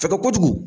Fɛgɛ kojugu